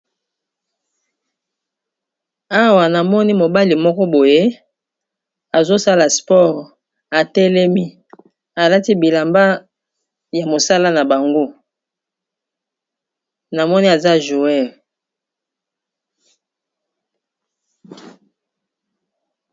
Awa namoni mobali moko boye azosala sport, atelemi, alati bilamba ya mosala na bango, na moni aza mobeti ndembo ya makolo.